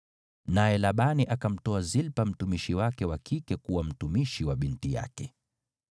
Naye Labani akamtoa Zilpa, mtumishi wake wa kike, kuwa mtumishi wa Lea, binti yake.